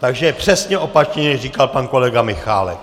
Takže přesně opačně říkal pan kolega Michálek.